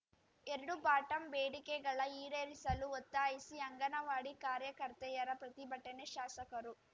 ಎರ್ಡು ಬಾಟಂ ಬೇಡಿಕೆಗಳ ಈಡೇರಿಸಲು ಒತ್ತಾಯಿಸಿ ಅಂಗನವಾಡಿ ಕಾರ್ಯಕರ್ತೆಯರ ಪ್ರತಿಭಟನೆ ಶಾಸಕರು